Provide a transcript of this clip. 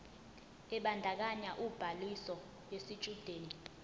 ebandakanya ubhaliso yesitshudeni